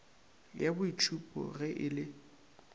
ya boitšhupo ge e le